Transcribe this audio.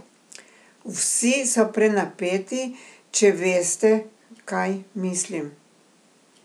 Vsi so prenapeti, če veste, kaj mislim.